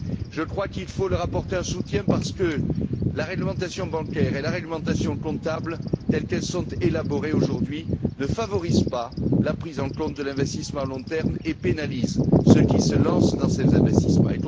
Je crois qu'il faut leur apporter un soutien parce que la réglementation bancaire et la réglementation comptable, telles qu'elles sont élaborées aujourd'hui, ne favorisent pas la prise en compte de l'investissement à long terme et pénalisent ceux qui se lancent dans ces investissements.